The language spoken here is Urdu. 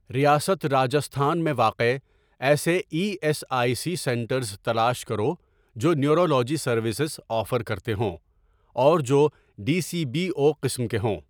ریاست راجستھان میں واقع ایسے E S I C centres تلاش کرو جو نیورولوجی سروسز آفر کرتے ہوں اور جو ڈی سی بی او قسم کے ہوں۔